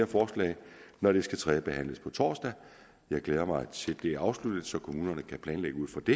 forslag når det skal tredjebehandles på torsdag jeg glæder mig til bliver afsluttet så kommunerne kan planlægge ud fra det